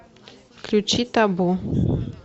включи табу